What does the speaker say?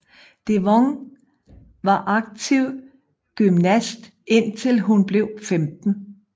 Devon var aktiv gymnast indtil hun blev 15